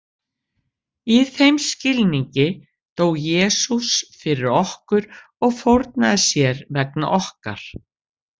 Í þeim skilningi dó Jesús fyrir okkur og fórnaði sér vegna okkar.